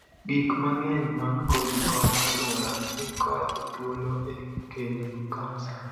Gik mang'eny mag kodhi kod aluora ni kod thuolo e kelo kansa.